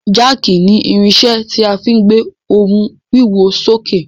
Jáàkì ni irinṣẹ́ tí a fí gbé ohun wíwo sókè.